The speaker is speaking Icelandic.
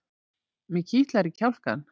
Mig kitlar í kjálkann.